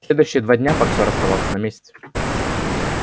следующие два дня боксёр оставался на месте